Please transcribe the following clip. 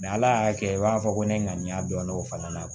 ala y'a kɛ i b'a fɔ ko ne ŋaniya dɔn o fana na